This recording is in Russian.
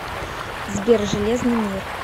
сбер железный мир